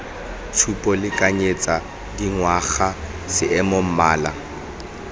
tshupo lekanyetsa dingwaga seemo mmala